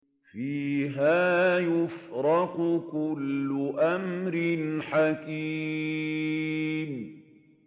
فِيهَا يُفْرَقُ كُلُّ أَمْرٍ حَكِيمٍ